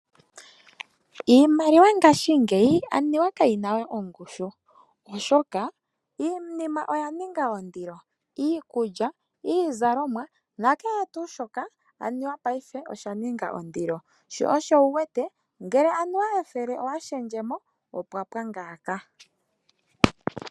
Iimaliwa ngaashingeyi aniwa kayina we ongushu oshoka iinima oya ninga ondilo iikulya, iizalomwa na kehe tu shoka aniwa osha ninga ondilo sho oshowo uwete ngele anuwa methele owa shendjemo opwa ngaaka.